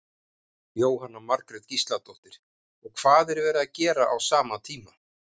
Jóhanna Margrét Gísladóttir: Og hvað var verið að gera á sama tíma?